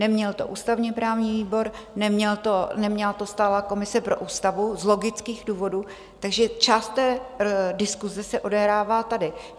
Neměl to ústavně-právní výbor, neměla to stálá komise pro ústavu, z logických důvodů, takže část té diskuse se odehrává tady.